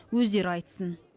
өздері айтсын